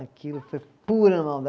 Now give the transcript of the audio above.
Aquilo foi pura